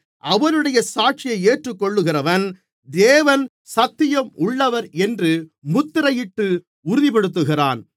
அவருடைய சாட்சியை ஏற்றுக்கொள்ளுகிறவன் தேவன் சத்தியம் உள்ளவர் என்று முத்திரையிட்டு உறுதிப்படுத்துகிறான்